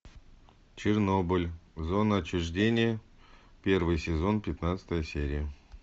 чернобыль зона отчуждения первый сезон пятнадцатая серия